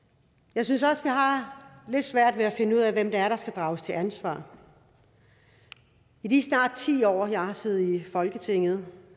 jeg synes også vi har lidt svært ved at finde ud af hvem der skal drages til ansvar i de snart ti år jeg har siddet i folketinget